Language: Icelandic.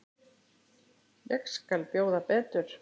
Ég skal bjóða betur.